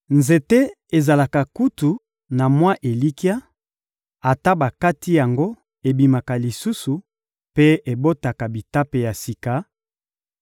Nzete ezalaka kutu na mwa elikya: ata bakati yango, ebimaka lisusu mpe ebotaka bitape ya sika;